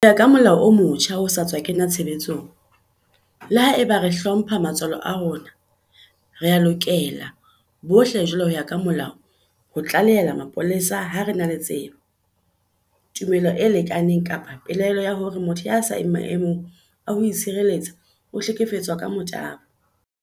Ho ya ka molao o motjha o sa tswa kena tshebetsong, le haeba re hlompha matswalo a rona, rea lokela bohle jwale ho ya ka molao ho tlalehela mapolesa ha re na le tsebo, tumelo e lekaneng kapa pelaelo ya hore motho ya seng maemong a ho itshireletsa o hlekefeditswe ka motabo.